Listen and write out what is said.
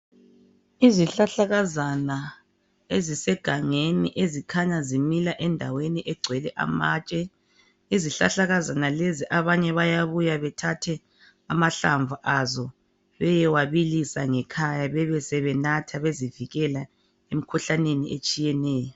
Izihlahlakazana ezisegangeni ezikhanya zimila endaweni egcwele amatshe. Izihlahlakazana lezi abanye bayabuya bethathe amahlamvu azo beyewabilisa ngekhaya bebesebenatha bezivikela emkhuhlaneni etshiyeneyo.